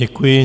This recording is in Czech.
Děkuji.